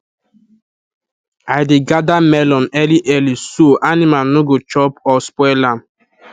i dey gather melon early early so animal no go chop or spoil am